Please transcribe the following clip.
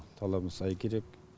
талабы сай керек